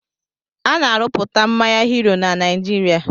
Ana-arụpụta mmanya "Hero" na Naijiria